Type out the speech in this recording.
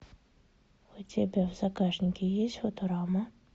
у тебя в загашнике есть футурама